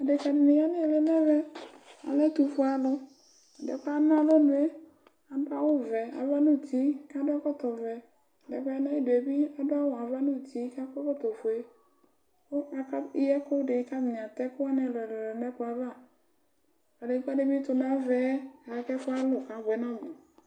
dekadɩnɩ ya n'ɩlɩ n'ɛvɛ alɛ ɛtʊfʊe alʊ ɛdɩɛ kɔya n alɔnʊe aduawʊ vɛ ava n uti kakɔ ɛkɔtɔvɛ ɛdɩɛ ya n'ayiduebi aduawʊ ava n'uti kakɔ ɛkɔtɔ fʊe kakeyiɛkʊdɩ k atanɩ'atɛkuwanɩ ɛlʊɛlʊ n'ɛkplɔava kadegba bɩ tʊ n'avaɛ k'ɛfʊalʊ kabuɛ n'ɔmʊ